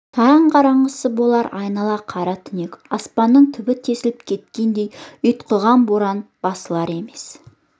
таң қараңғысы болар айнала қара түнек аспанның түбі тесіліп кеткендей ұйтқыған боран басылар емес